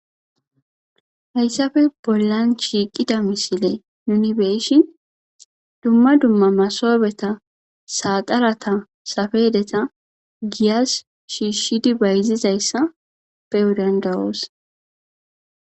Hayssafe bollan shiiqida misile nuuni be7shin dumma dumma masoobetha, saaxaratha, safedetha giyas shiishshidi bayzizayssa be7o dandda7oos.